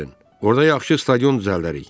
Orda yaxşı stadion düzəldərik.